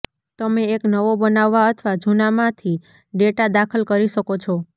તમે એક નવો બનાવવા અથવા જૂના માંથી ડેટા દાખલ કરી શકો છો